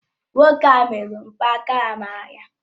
Nwoke ahụ merụrụ mgbaaka amara ya